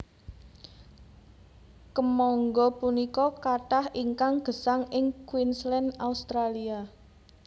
Kèmangga punika kathah ingkang gèsang ing Queensland Australia